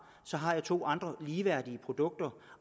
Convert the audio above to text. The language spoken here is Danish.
så har jeg to andre ligeværdige produkter